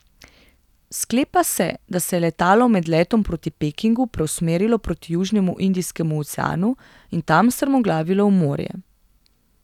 Sklepa se, da se je letalo med letom proti Pekingu preusmerilo proti južnemu Indijskemu oceanu in tam strmoglavilo v morje.